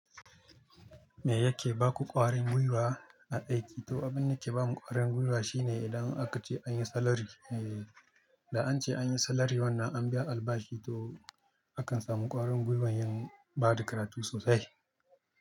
Me yake baku ƙwarin gwiwa a aiki? Toh abun da yake bamu kwarin gwiwa shine idan aka ce an yi salary. Da ance an yi salary an biya albashi toh haka a samu kwarin gwiwa yan bata karatu sosai.